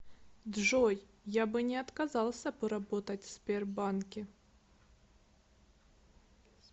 джой я бы не отказался поработать в сбербанке